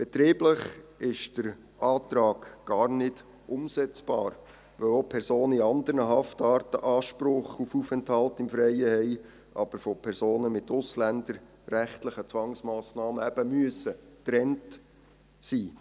Betrieblich ist der Antrag gar nicht umsetzbar, weil auch Personen in anderen Haftarten Anspruch auf Aufenthalt im Freien haben, aber eben von Personen mit ausländerrechtlichen Zwangsmassnahmen getrennt sein müssen.